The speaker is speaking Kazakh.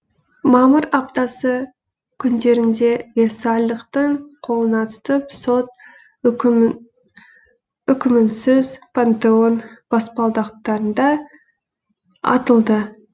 мамыр аптасы күндерінде версальдықтың қолына түсіп сот үкімінсіз пантеон баспалдақтарында атылды